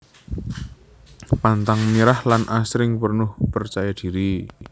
Pantang menyerah lan asring penuh percaya diri